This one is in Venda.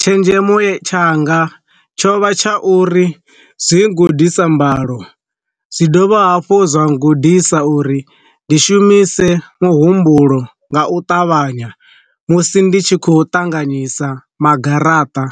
tshenzhemo tshanga tsho vha tsha uri zwi gudisa mbalo, zwi dovha hafhu zwa gudisa uri ndi shumise muhumbulo nga u ṱavhanya musi ndi tshi khou ṱanganyisa ma garaṱa.